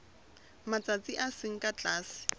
matsatsi a seng ka tlase